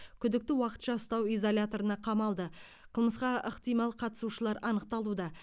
күдікті уақытша ұстау изоляторына қамалды қылмысқа ықтимал қатысушылар анықталуда